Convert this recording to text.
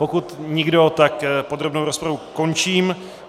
Pokud nikdo, tak podrobnou rozpravu končím.